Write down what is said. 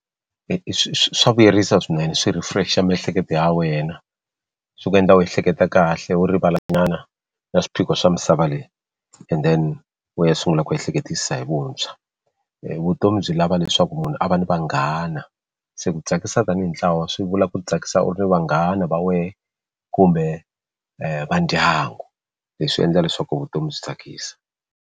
Swa vuyerisa swinene swi refresh-a miehleketo ya wena swi ku endla u ehleketa kahle wo rivala xin'wana na swiphiqo swa misava leyi and then u ya sungula ku ehleketisa hi vuntshwa vutomi byi lava leswaku munhu a va ni vanghana se ku tsakisa tanihi ntlawa swi vula ku tsakisa u ri vanghana va wehe kumbe vandyangu leswi endla leswaku vutomi byi tsakisa.